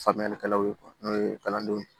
Faamuyalikɛlaw ye n'o ye kalandenw ye